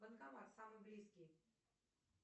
банкомат самый близкий